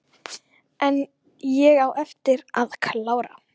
En ég á eftir að klára.